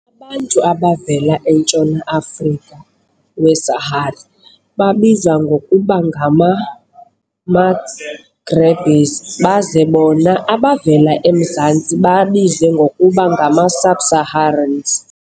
Abantu abavela entshona - Afrika we-Sahara babizwa ngokuba ngama-Maghrebis baze bona abavela emzantsi babizwe ngokuba ngama-Subsaharans.